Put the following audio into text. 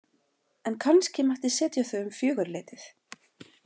En kannski mætti setja þau um fjögurleytið.